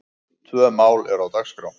Tvö mál eru á dagskrá.